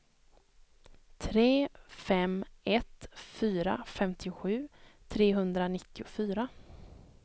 tre fem ett fyra femtiosju trehundranittiofyra